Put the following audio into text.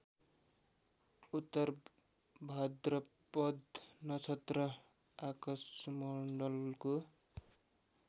उत्तरभाद्रपद नक्षत्र आकाशमण्डलको